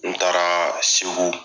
N taara segu